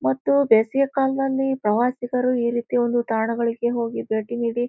ಮತ್ತು ಬೇಸಿಗೆ ಕಾಲದಲ್ಲಿ ಪ್ರವಾಸಿಗರು ಈ ರೀತಿ ಒಂದು ತಾಣಗಳಿಗೆ ಹೋಗಿ ಭೇಟಿ ನೀಡಿ--